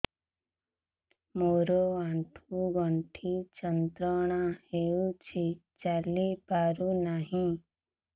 ମୋରୋ ଆଣ୍ଠୁଗଣ୍ଠି ଯନ୍ତ୍ରଣା ହଉଚି ଚାଲିପାରୁନାହିଁ